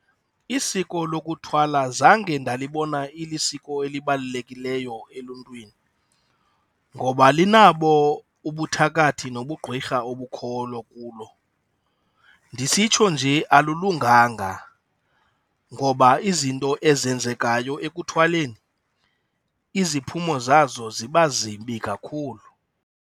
Isiko lokuthwala zange ndalibona ilisiko elibalulekileyo eluntwini ngoba linabo ubuthakathi nobugqwirha obukhoyo kulo. Ndisitsho nje alilunganga ngoba izinto ezenzekayo ekuthwaleni, iziphumo zazo ziba zibi kakhulu.